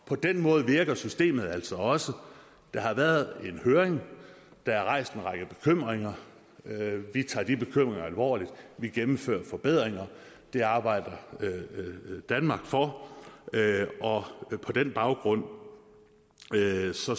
på den måde virker systemet altså også der har været en høring der er rejst en række bekymringer vi tager de bekymringer alvorligt vi gennemfører forbedringer det arbejder danmark for og på den baggrund